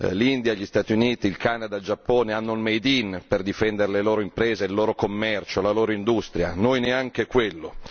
L'India, gli Stati Uniti, il Canada, il Giappone hanno il made in per difendere le loro imprese, il loro commercio, la loro industria, noi neanche quello!